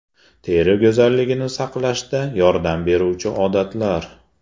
Teri go‘zalligini saqlashga yordam beruvchi odatlar.